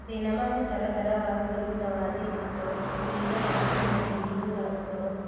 Mathĩna ma Mũtaratara wa Kwĩruta wa Digito kũringana na Kenya Kũhingũra ũhoro.